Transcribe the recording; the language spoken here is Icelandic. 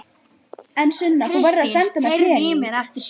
En Sunna, þú verður að senda mér peninga.